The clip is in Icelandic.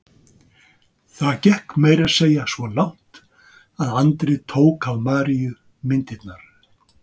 Það gekk meira að segja svo langt að Andri tók af Maríu myndirnar.